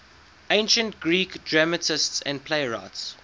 ancient greek dramatists and playwrights